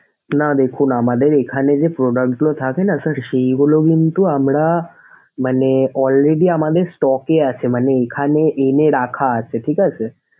না দেখুন আমাদের এখানে যে product গুলো থাকেনা sir সেইগুলো কিন্তু আমরা মানে already আমাদের stock এ আছে মানে এখানে এনে রাখা আছে।